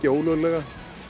ólöglega